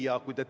Aitäh!